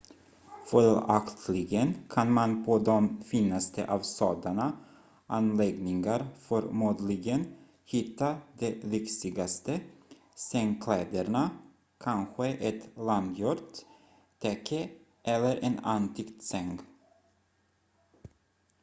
följaktligen kan man på de finaste av sådana anläggningar förmodligen hitta de lyxigaste sängkläderna kanske ett handgjort täcke eller en antik säng